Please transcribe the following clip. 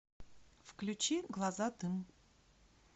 включи глаза дым